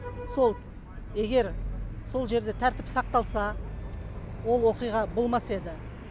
сол егер сол жерде тәртіп сақталса ол оқиға болмас еді